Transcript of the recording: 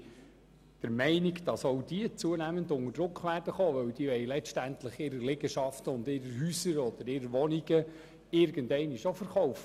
Aber auch diese werden zunehmend unter Druck geraten, denn sie wollen letztendlich ihre Liegenschaften und ihre Häuser oder Wohnungen irgendeinmal verkaufen.